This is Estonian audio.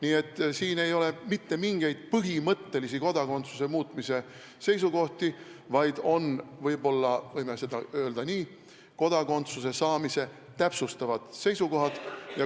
Nii et siin ei ole mitte mingeid põhimõttelisi kodakondsuse andmist muutvaid seisukohti, vaid – võib-olla võime öelda nii – kodakondsuse saamist täpsustavad seisukohad.